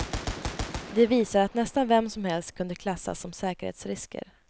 De visar att nästan vem som helst kunde klassas som säkerhetsrisker.